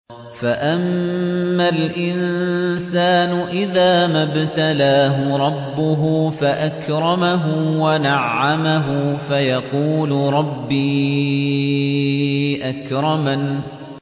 فَأَمَّا الْإِنسَانُ إِذَا مَا ابْتَلَاهُ رَبُّهُ فَأَكْرَمَهُ وَنَعَّمَهُ فَيَقُولُ رَبِّي أَكْرَمَنِ